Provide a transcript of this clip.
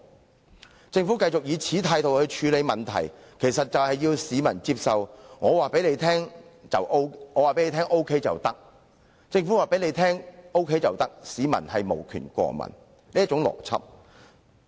若政府繼續以同一態度處理問題，要市民接受"政府告訴你 OK 便 OK" 的話，市民對於任何事情均無權過問。